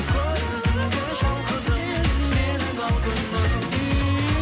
көрдім де шалқыдым менің алтыным